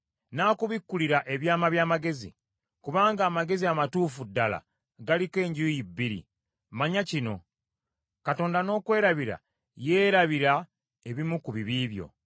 n’akubikkulira ebyama by’amagezi; kubanga amagezi amatuufu ddala galiko enjuuyi bbiri. Manya kino: Katonda n’okwerabira yeerabira ebimu ku bibi byo.